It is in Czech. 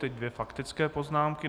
Teď dvě faktické poznámky.